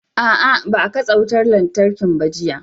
A'a, ba a katse wutar lantarkin ba jiya.